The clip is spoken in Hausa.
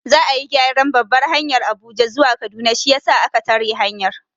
Za'a yi gyaran babbar hanyar Abuja zuwa Kaduna shiyasa a ka tare hanyar.